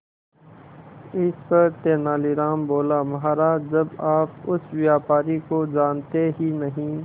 इस पर तेनालीराम बोला महाराज जब आप उस व्यापारी को जानते ही नहीं